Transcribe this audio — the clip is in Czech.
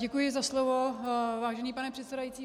Děkuji za slovo, vážený pane předsedající.